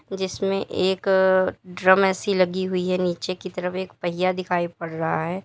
जिसमें एक drum AC लगी हुई है नीचे की तरफ एक पहिया दिखाई पड़ रहा है।